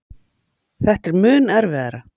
Þetta er mun erfiðara.